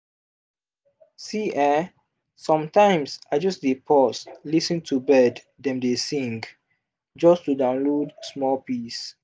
see[um]sometimes i just dey pause lis ten to bird dem dey sing just to download small peace.